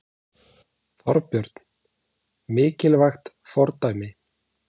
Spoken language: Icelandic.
Þorbjörn: Mikilvægt fordæmi?